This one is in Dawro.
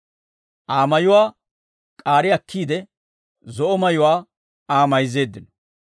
Aa mayuwaa k'aari akkiide, zo'o mayuwaa Aa mayzzeeddino.